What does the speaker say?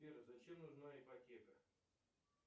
сбер зачем нужна ипотека